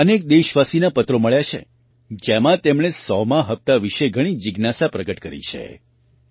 મને અનેક દેશવાસીના પત્રો મળ્યા છે જેમાં તેમણે 100મા હપ્તા વિશે ઘણી જિજ્ઞાસા પ્રગટ કરી છે